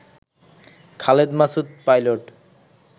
Khaled Masud pilot